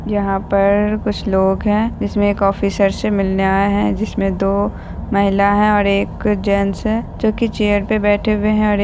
यहाँ पर कुछ लोग हैं जिसमें एक ऑफिसर से मिलने आए हैं जिसमें दो महिला हैं और एक जेंट्स हैं जो की चेयर पे बैठे हुए हैं और एक --